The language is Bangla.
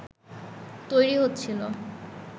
তৈরী হচ্ছিল